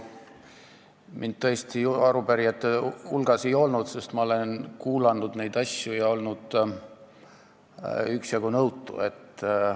Mind tõesti arupärijate hulgas ei olnud, sest ma olen neid asju kuulanud ja üksjagu nõutu olnud.